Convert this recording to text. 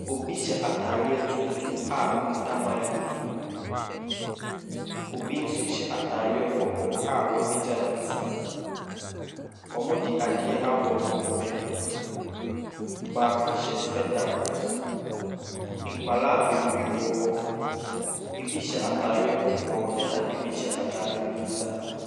Obi hyɛ ataadeɛ tuntum a okita microphone, obi nso hyɛ ataadeɛ kɔkɔɔ a wapagya ne nsa, wɔde ade abɔ wɔn hwene. Baako hyɛ spectacles. Nkwadaa bebree wɔ hɔ. bi hyɛ ataadeɛ kɔkɔɔ na bi hyɛ ataadeɛ fitaa.